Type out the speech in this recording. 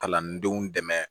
Kalandenw dɛmɛ